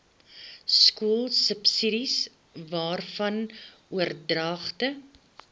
skoolsubsidies waarvan oordragte